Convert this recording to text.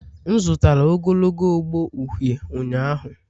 M zụtara ogologo ogbo uhie ụnyahụ.